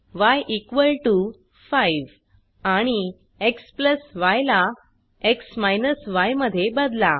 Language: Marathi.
य 5 आणि xy ला x य मध्ये बदला